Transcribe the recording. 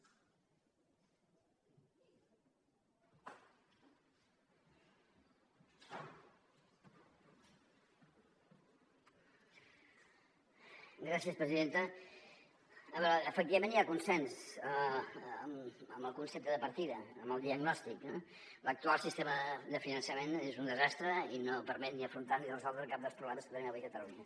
a veure efectivament hi ha consens en el concepte de par·tida en el diagnòstic l’actual sistema de finançament és un desastre i no permet ni afrontar ni resoldre cap dels problemes que tenim avui a catalunya